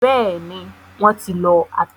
Bẹ́ẹ̀ni, wọ́n ti lọ ata.